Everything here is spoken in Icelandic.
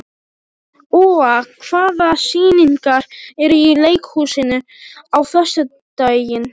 Úa, hvaða sýningar eru í leikhúsinu á föstudaginn?